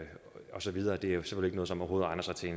og så videre det er jo simpelt noget som overhovedet egner sig til